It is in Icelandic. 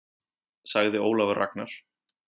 Sagði Ólafur Ragnar.